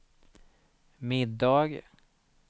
middag